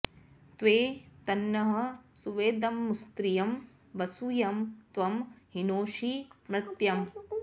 त्वे तन्नः॑ सु॒वेद॑मु॒स्रियं॒ वसु॒ यं त्वं हि॒नोषि॒ मर्त्य॑म्